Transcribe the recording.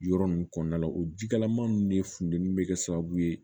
Yɔrɔ ninnu kɔnɔna la o jikalaman ninnu de funtɛni bɛ kɛ sababu ye